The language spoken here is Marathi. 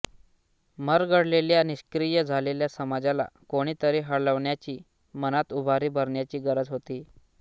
मरगळलेल्या निष्क्रिय झालेल्या समाजाला कोणी तरी हलवण्याची मनात उभारी भरण्याची गरज होती